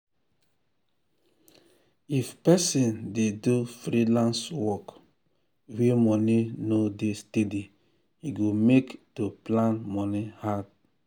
if person dey do freelance work wey money no dey steady e go make to plan moni hard.